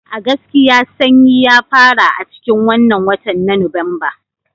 A gaskiya Sannyi ya fara a cikin wannan watan na Nuwamba